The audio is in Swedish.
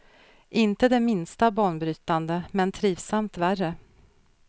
Inte det minsta banbrytande, men trivsamt värre.